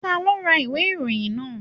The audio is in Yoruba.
Ta ló ra ìwé ìròyìn náà?